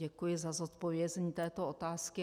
Děkuji za zodpovězení této otázky.